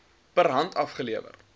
per hand afgelewer